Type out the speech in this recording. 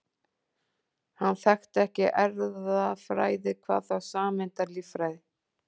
Hann þekkti ekki erfðafræði, hvað þá sameindalíffræði.